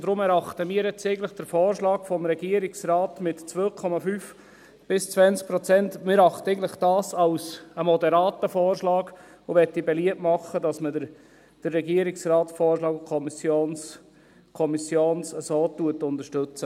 Deshalb erachten wir eigentlich den Vorschlag des Regierungsrates mit 2,5– 20 Prozent als moderaten Vorschlag, und ich möchte beliebt machen, dass man den Vorschlag des Regierungsrats und der Kommission so unterstützt.